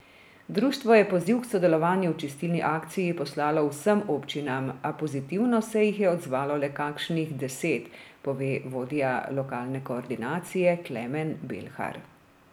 Društvo je poziv k sodelovanju v čistilni akciji poslalo vsem občinam, a pozitivno se jih je odzvalo le kakšnih deset, pove vodja lokalne koordinacije Klemen Belhar.